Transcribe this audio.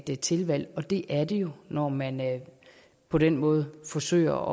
et tilvalg og det er det jo når man på den måde forsøger